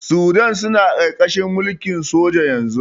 Sudan suna ƙarƙarahin mulkin soja yanzu.